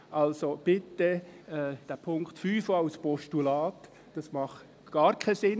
Also, bitte: Punkt 5 ist gar nicht sinnvoll, auch als Postulat nicht.